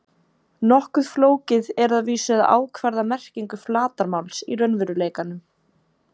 Nokkuð flókið er að vísu að ákvarða merkingu flatarmáls í raunveruleikanum.